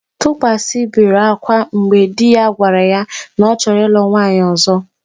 Tukwasị bere akwa mgbe di ya gwara ya na ọ chọrọ ịlụ nwaanyị ọ̀zọ́.